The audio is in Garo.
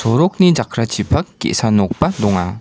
sorokni jakrachipak ge·sa nokba donga.